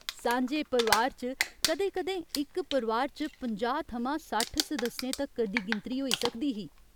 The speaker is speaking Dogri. सांझे परोआर च कदें कदें इक परोआर च पंजाह् थमां सट्ठ सदस्यें तक्कर दी गिनतरी होई सकदी ही।